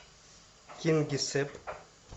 кингисепп